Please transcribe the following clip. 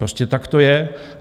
Prostě tak to je.